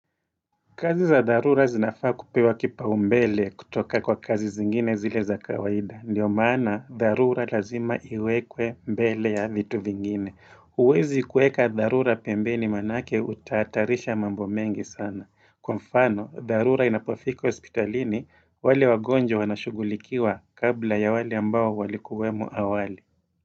Kazi za dharura zinafaa kupewa kipaumbele kutoka kwa kazi zingine zile za kawaida Ndiyo maana dharura lazima iwekwe mbele ya vitu vingine Uwezi kueka dharura pembeni manake utahatarisha mambo mengi sana Kwa mfano, dharura inapofika hospitalini, wale wagonjwa wanashugulikiwa kabla ya wale ambao walikuwemo awali.